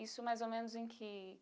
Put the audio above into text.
Isso mais ou menos em que